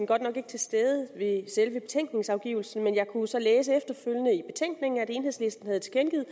godt nok ikke til stede ved selve betænkningsafgivelsen men jeg kunne så læse efterfølgende i betænkningen at enhedslisten havde tilkendegivet